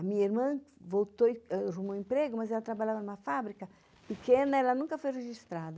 A minha irmã arrumou emprego, mas ela trabalhava numa fábrica pequena, ela nunca foi registrada.